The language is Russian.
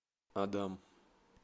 адам